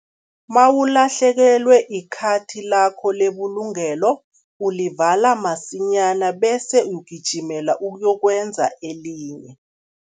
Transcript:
Mawulahlekelwe ikhathi lakho lebulungelo, ulivala masinyana bese ugijimela ukuyokwenza elinye.